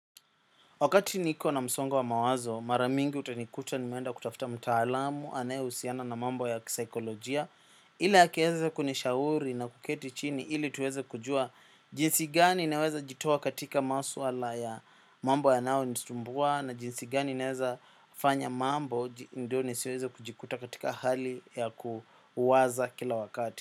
Wakati niko na msongo wa mawazo, mara mingi utanikuta nimeenda kutafuta mtaalamu, anayehusiana na mambo ya kisaikolojia. Ili akiaza kunishauri na kuketi chini, ili tuweze kujua jinsi gani ninaweza jitoa katika maswala ya mambo yanayo nisumbua, na jinsi gani ninaweza fanya mambo, ndio nisiweze kujikuta katika hali ya kuwaza kila wakati.